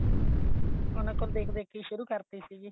ਉਹਨਾ ਕੋਲੋ ਦੇਖ ਦੇਖ ਕੇ ਹੀ ਸ਼ੁਰੂ ਕਰਤੀ ਸੀਗੀ